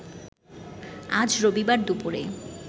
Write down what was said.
আজ রবিবার দুপুরে